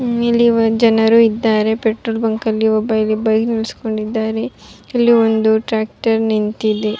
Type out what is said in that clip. ಇಲ್ಲಿ ಜನರು ಇದ್ದಾರೆ ಪೆಟ್ರೋಲ್ ಬಂಕ್ ಒಬ್ಬ ಇಲ್ಲಿ ಬೈಕ್ ನಿಲ್ಸ್ಕೊಂಡಿದ್ದಾರೆ ಇಲ್ಲಿ ಒಂದು ಟ್ಯಾಕ್ಟರ್ ನಿಂತಿದೆ.